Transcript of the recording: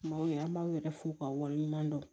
Maaw ye an b'aw yɛrɛ fo ka waleɲuman dɔn